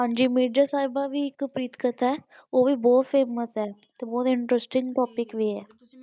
ਮਿਰਜ਼ਾ ਸਾਹਿਬ ਭੀ ਇਕ ਪ੍ਰੇਮ ਕਥਾ ਹੈ ਓ ਵੀ ਬਹੁਤ ਫੇਮਸ ਹੈ ਉਹ ਤੇ ਇੰਟ੍ਰਸਟਿੰਗ ਟੌਪਿਕ ਵੀ ਹੈ।